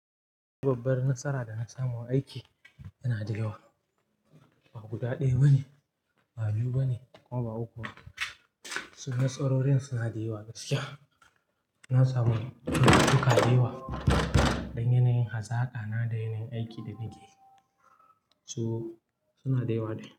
Babbar nasara da na samu aiki tana da yawa, ba guda ɗaya ba ne, ba biyu ba ne ko ba uku ba. Nasarorin suna da yawa gaskiya. Na samu kuɗi tukuru da yanayin hazaka na da yanayin aikin da nake so, suna da yawa.